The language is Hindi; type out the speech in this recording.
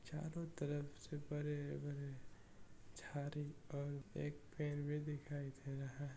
चारों तरफ है झाड़ी और एक पेड़ भी दिखाई दे रहा है।